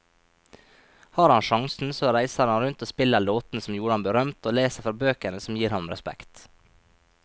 Har han sjansen så reiser han rundt og spiller låtene som gjorde ham berømt, og leser fra bøkene som gir ham respekt.